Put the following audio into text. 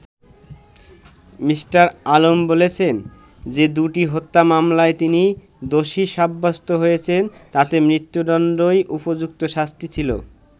Me: Alam বলেছেন, যে দু'টি হত্যা মামলায় তিনি দোষী সাব্যস্ত হয়েছেন তাতে মৃত্যুদন্ডই উপযুক্ত শাস্তি ছিলো।